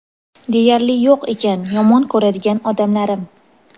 deyarli yo‘q ekan yomon ko‘radigan odamlarim.